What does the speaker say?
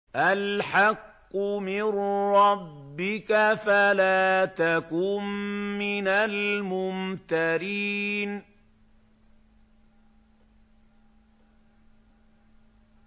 الْحَقُّ مِن رَّبِّكَ فَلَا تَكُن مِّنَ الْمُمْتَرِينَ